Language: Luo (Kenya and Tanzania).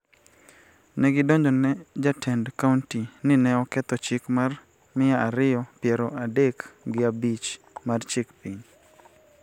Ne gidonjone jatend kaonti ni ne oketho chik mar mia ariyo piero adek gi abich mar chik piny,